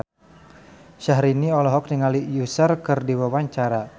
Syahrini olohok ningali Usher keur diwawancara